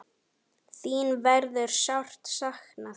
Þín verður sárt saknað.